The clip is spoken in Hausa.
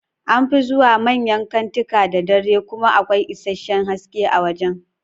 An fi zuwa manyan kantika da dare kuma akwai isasshen haske a wajan